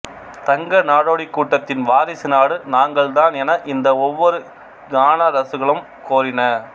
தங்க நாடோடிக் கூட்டத்தின் வாரிசு நாடு நாங்கள்தான் என இந்த ஒவ்வொரு கானரசுகளும் கோரின